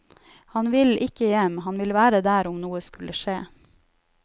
Han vil ikke hjem, han vil være der om noe skulle skje.